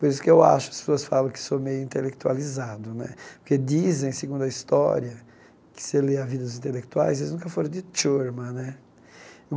Por isso que eu acho, as pessoas falam que sou meio intelectualizado né, porque dizem, segundo a história, que se lê a vida dos intelectuais, eles nunca foram de né.